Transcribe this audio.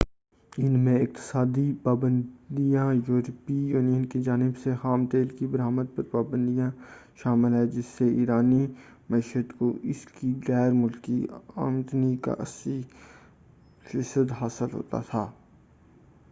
ان میں اقتصادی پابندیاں اور یوروپی یونین کی جانب سے خام تیل کی برآمد پر پابندی شامل ہے، جس سے ایرانی معیشت کو اس کی غیر ملکی آمدنی کا 80٪ حاصل ہوتا ہے۔